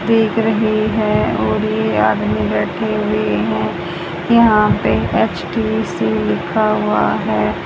दिख रहे हैं और ये आदमी बैठे हुए हैं यहाँ पे एच_टी_सी लिखा हुआ है।